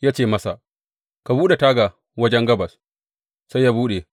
Ya ce masa, Ka buɗe taga wajen gabas, sai ya buɗe.